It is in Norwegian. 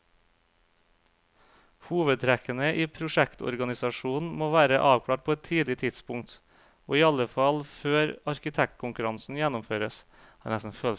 Hovedtrekkene i prosjektorganisasjonen må være avklart på et tidlig tidspunkt, og iallfall før arkitektkonkurransen gjennomføres.